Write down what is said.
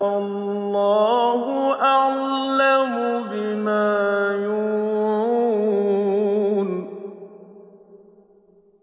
وَاللَّهُ أَعْلَمُ بِمَا يُوعُونَ